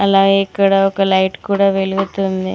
అలాగే ఇక్కడ ఒక లైట్ కూడా వెలుగుతుంది.